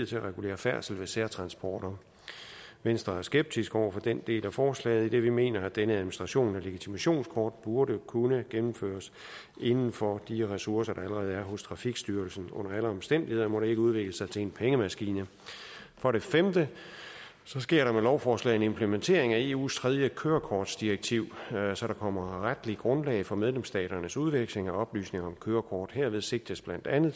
til at regulere færdslen med særtransporter venstre er skeptiske over for den del af forslaget idet vi mener at denne administration af legitimationskort burde kunne gennemføres inden for de ressourcer der allerede er hos trafikstyrelsen under alle omstændigheder må det ikke udvikle sig til en pengemaskine for det femte sker der med lovforslaget en implementering af eus tredje kørekortdirektiv så der kommer retligt grundlag for medlemsstaternes udveksling af oplysninger om kørekort herved sigtes blandt andet